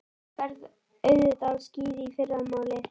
Þú ferð auðvitað á skíði í fyrramálið.